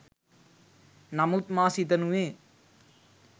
නමුත් මා සිතනුයේ